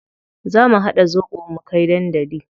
Za mu haɗa zobo mu kai dandali.